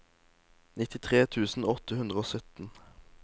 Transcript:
nittitre tusen åtte hundre og sytten